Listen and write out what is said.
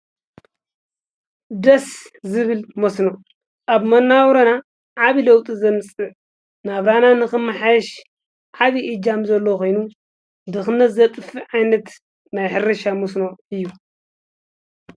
ደስ ዝብል መስኖ አብ መናባብሮና ዓብዪ ለውጢ ዘምፅእ ናብራና ንክመሓየሽ ዓብዪ እጃም ዘለዎ ኮይኑ ድኽነት ዘጥፍእ ዓይነት ናይ ሕርሻ መስኖ እዩ።